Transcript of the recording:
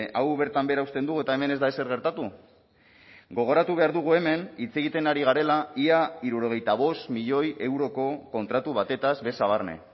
hau bertan behera uzten dugu eta hemen ez da ezer gertatu gogoratu behar dugu hemen hitz egiten ari garela ia hirurogeita bost milioi euroko kontratu batez beza barne